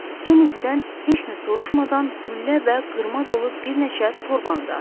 Kennedy-dən heç nə soruşmadan güllə və qırma dolu bir neçə torbanı da atdı.